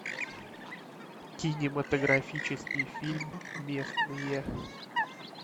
кинематографический фильм местные